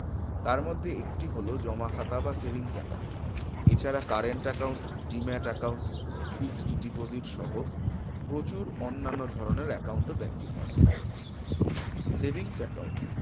তার মধ্যে একটি খাতা হল জমা খাতা বা savings account এছাড়া current account demate account fixed deposit সহ প্রচুর অন্যান্য ধরনের account ও bank এ করা হয় savings account